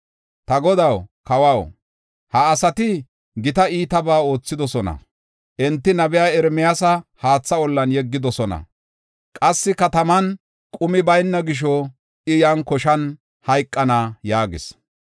“Ta godaw kawaw, ha asati gita iitabaa oothidosona; enti nabiya Ermiyaasa haatha ollan yeggidosona. Qassi kataman qumi bayna gisho I yan koshan hayqana” yaagis.